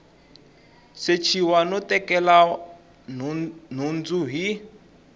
sechiwa no tekela nhundzu hi